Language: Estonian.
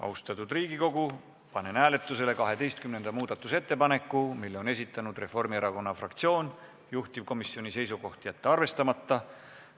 Austatud Riigikogu, panen hääletusele 12. muudatusettepaneku, mille on esitanud Reformierakonna fraktsioon, juhtivkomisjoni seisukoht: jätta arvestamata.